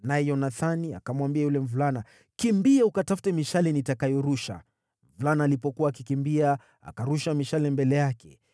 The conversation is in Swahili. naye Yonathani akamwambia yule mvulana, “Kimbia ukatafute mishale nitakayorusha.” Mvulana alipokuwa akikimbia, akarusha mishale mbele yake.